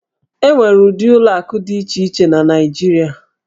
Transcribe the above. E nwere ụdị ụlọ akụ dị iche iche na Naịjirịa.